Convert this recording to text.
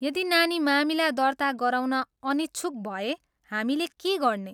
यदि नानी मामिला दर्ता गराउन अनिच्छुक भए हामीले के गर्ने?